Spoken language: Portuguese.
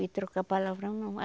De trocar palavrão, não.